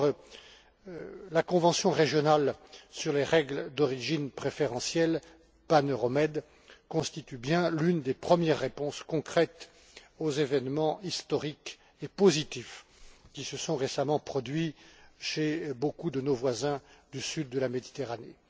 D'abord, la convention régionale sur les règles d'origine préférentielles pan euro med constitue l'une des premières réponses concrètes aux événements historiques et positifs qui se sont récemment produits chez beaucoup de nos voisins du sud de la Méditerranée.